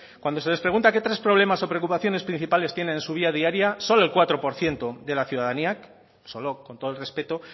cuando se les pregunta qué tres problemas o preocupaciones principales tienen en su vía diaria solo el cuatro por ciento de la ciudadanía solo con todo el respeto